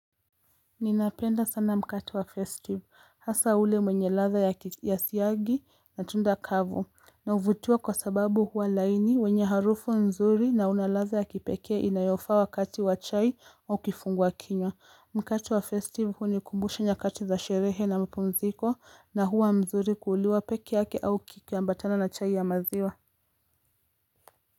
Ninapenda sana mkate wa festive hasa ule mwenye latha ya siyagi na tunda kavu na uvutiwa kwa sababu huwa laini wenye harufu mzuri na unalatha ya kipekea inayofa wakati wa chai au kifungwa kinywa Mkate wa festive hunikumbusha nyakati za sherehe na mapumziko na huwa mzuri kuuliwa peke yake au kikiambatana na chai ya maziwa.